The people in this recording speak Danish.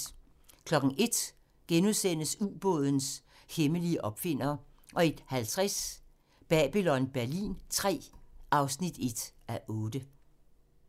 01:00: Ubådens hemmelige opfinder * 01:50: Babylon Berlin III (1:8)